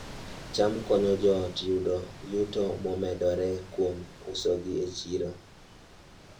cham konyo joot yudo yuto momedore kuom usogi e chiro